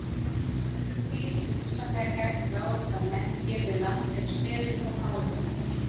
Önnur dýr sem hugsanlega gætu ráðist á menn hér við land eru selir og háhyrningar.